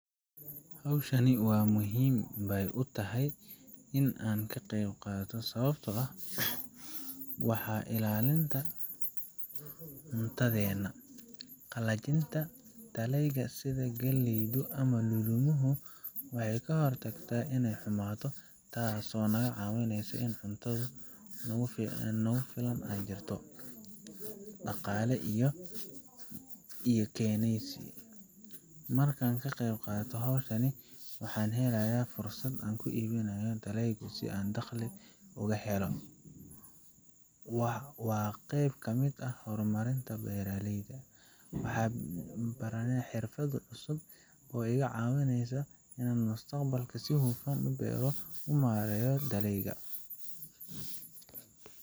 Hawshan waa muhiim bay utahay in aan ka qeyb qaato sababtoo ah:Waa ilaalinta cuntadeenna: Qalajinta dalagyada sida galleyda ama lulumuhu waxay ka hortagtaa inay xumaato, taasoo naga caawineysa in cunto nagu filan ay jirto Dhaqaale ayay ii keeneysaa: Markaan ka qeyb qaato hawshan, waxaan helaa fursad aan ku iibiyo dalagga si aan dakhliga uga helo. Waa qayb ka mid ah horumarinta beeralayda: Waxaan baranayaa xirfado cusub oo iga caawinaya inaan mustaqbalka si hufan u beero una maareeyo dalagyada.